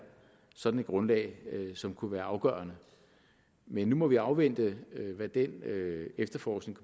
sådan et grundlag som kunne være afgørende men nu må vi afvente hvad den efterforskning